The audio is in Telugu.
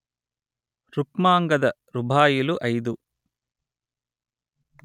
రుక్మాంగద రుబాయిలు అయిదు